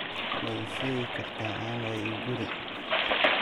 ma ii sheegi kartaa ann waiguru